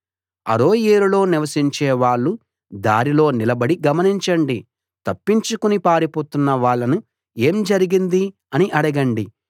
అరోయేరులో నివసించే వాళ్ళు దారిలో నిలబడి గమనించండి తప్పించుకుని పారిపోతున్న వాళ్ళని ఏం జరిగింది అని అడగండి